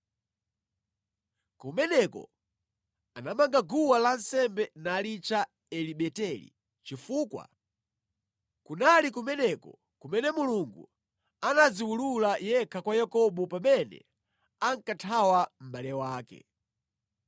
Kumeneko anamanga guwa lansembe nalitcha Eli Beteli, chifukwa kunali kumeneko kumene Mulungu anadziwulula yekha kwa Yakobo pamene ankathawa mʼbale wake.